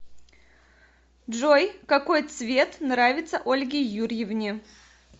джой какой цвет нравится ольге юрьевне